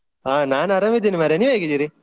ಹಾ ನಾನ್ ಆರಾಮ್ ಇದ್ದೇನೆ ಮಾರ್ರೆ ನೀವ್ ಹೇಗ್ ಇದ್ದೀರಿ?